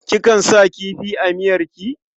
Kikan sa kifi a miyarki?